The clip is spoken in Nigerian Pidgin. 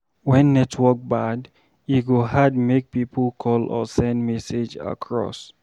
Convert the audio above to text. When network bad, e go hard make pipo call or send message across.